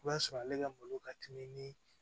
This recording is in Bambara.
I b'a sɔrɔ ale ka malo ka teli ni